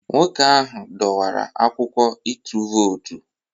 Nwoke ahụ dọwara akwụkwọ ịtụ vootu